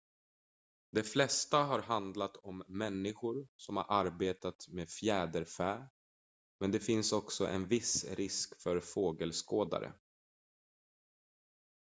de flesta har handlat om människor som arbetar med fjäderfä men det finns också en viss risk för fågelskådare